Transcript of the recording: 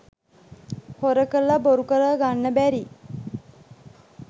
හොර කරල බොරු කරල ගන්න බැරි